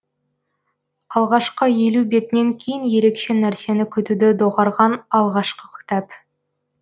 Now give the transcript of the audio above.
алғашқы елу бетінен кейін ерекше нәрсені күтуді доғарған алғашқы кітап